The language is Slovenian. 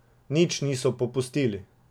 Nič niso popustili.